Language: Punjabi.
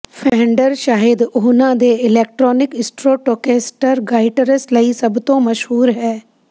ਫੇਂਡਰ ਸ਼ਾਇਦ ਉਹਨਾਂ ਦੇ ਇਲੈਕਟ੍ਰਾਨਿਕ ਸਟ੍ਰੋਟੋਕੈਸਟਰ ਗਾਇਟਰਸ ਲਈ ਸਭ ਤੋਂ ਮਸ਼ਹੂਰ ਹੈ